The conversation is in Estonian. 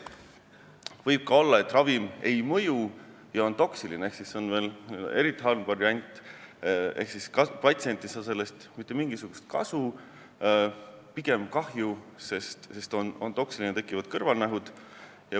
Võib ka olla, et ravim ei mõju ja on toksiline, see on veel eriti halb variant, sest siis ei saa patsient sellest mitte mingisugust kasu, ta saab pigem kahju, sest ravim on toksiline ja tal tekivad kõrvalnähud.